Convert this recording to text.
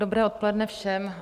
Dobré odpoledne všem.